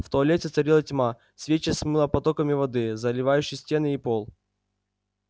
в туалете царила тьма свечи смыло потоками воды заливающей стены и пол